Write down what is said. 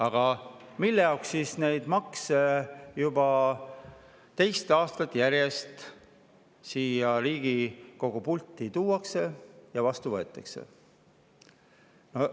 Aga mille jaoks neid makse juba teist aastat järjest siia Riigikogu pulti tuuakse ja siin vastu võetakse?